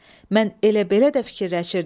Mən elə belə də fikirləşirdim.